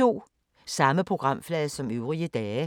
Samme programflade som øvrige dage